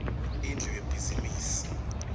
indlu yebhizimisi